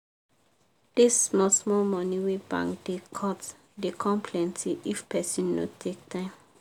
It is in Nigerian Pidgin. dis small small money wey bank da cut da come plenty if person no take time